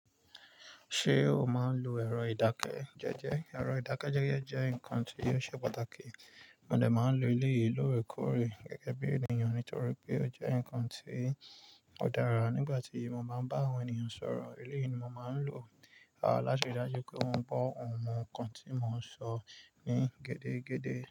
Ṣé o máa ń lo ẹ̀rọ ìdákẹ́jẹ́jẹ́? Ẹ̀rọ ìdákẹ́jẹ́jẹ́ jẹ́ nǹkan tí ó ṣe pàtàkì, mo dẹ máa ń lo eleyìí lóorekóòré gẹ́gẹ́ bí ènìyàn nítorí pé ó jẹ́ nǹkan tí ó dára nígbà tí mo bá ń bá àwọn ènìyàn sọ̀rọ̀. Eléyìí ni mo máa ń lò láti ri dájú pé wọ́n gbogbo nkan tí mò ń sọ ní gédé gédé.